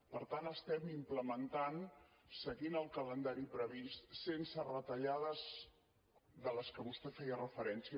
per tant estem implementant seguint el calendari previst sense retallades a les quals vostè feia referència